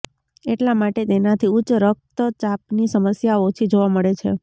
એટલા માટે તેનાથી ઉચ્ચ રક્તચાપની સમસ્યા ઓછી જોવા મળે છે